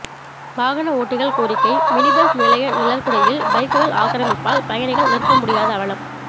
வாகனஓட்டிகள் கோரிக்கை மினிபஸ் நிலைய நிழற்குடையில் பைக்குகள் ஆக்கிரமிப்பால் பயணிகள் நிற்க முடியாத அவலம்